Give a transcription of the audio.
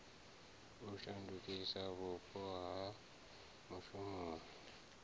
u shandukisa vhupo ha mushumoni